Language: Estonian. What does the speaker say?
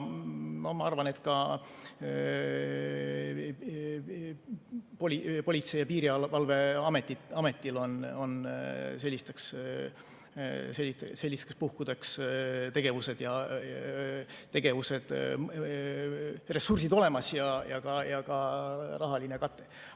Ma arvan, et ka Politsei‑ ja Piirivalveametil on sellisteks puhkudeks tegevused, ressursid ja ka rahaline kate olemas.